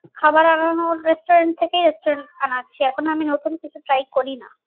খাবার আনানোর restaurant থেকেই আনাচ্ছি এখন আমি নতুন কিছু try করি না